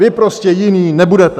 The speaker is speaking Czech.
Vy prostě jiní nebudete!